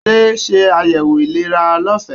Adé se ayẹwo ìlera lọfẹ.